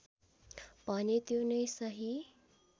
भने त्यो नै सही